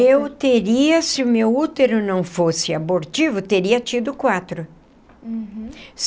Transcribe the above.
Eu teria, se o meu útero não fosse abortivo, teria tido quatro. Uhum.